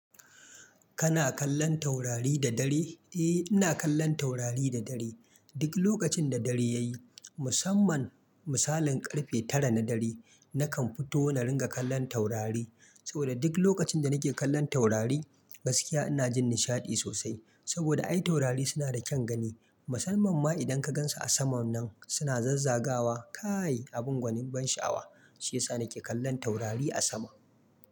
Kana kallon taurari da dare? Eh, ina kallon taurari da dare. Duk lokacin da dare ya yi, musamman misalin karfe tara na dare, nakan fito na ringa kallon taurari. Saboda duk lokacin da nake kallon taurari gaskiya ina jin nishaɗi sosai. Saboda ai taurari suna da kyan gani. Musamman ma idan ka gansu a saman nan suna zazzagawa. Kaai abun gwanin ban sha'awa. Shi yasa nake kallon taurari a sama.